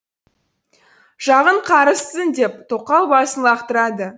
жағың қарыссын деп тоқал басын лақтырады